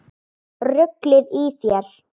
Ruglið í þér!